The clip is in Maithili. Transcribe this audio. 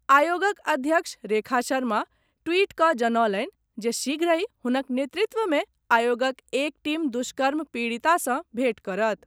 आयोगक अध्यक्ष रेखा शर्मा ट्वीट कऽ जनौलनि जे शीघ्रहिं हुनक नेतृत्व मे आयोगक एक टीम दुष्कर्म पीड़िता सॅ भेट करत।